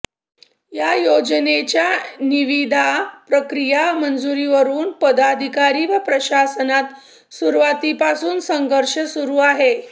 या योजनेच्या निविदा प्रक्रिया मंजुरीवरून पदाधिकारी व प्रशासनात सुरुवातीपासून संघर्ष सुरू आहे